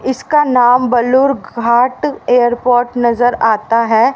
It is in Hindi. इसका नाम बलूर घाट एयरपोर्ट नजर आता है।